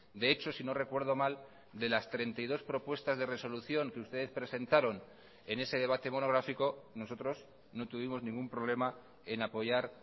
de hecho si no recuerdo mal de las treinta y dos propuestas de resolución que ustedes presentaron en ese debate monográfico nosotros no tuvimos ningún problema en apoyar